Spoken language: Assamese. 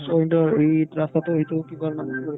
so, এইটো ইত ৰাস্তাটো এইটো কি কই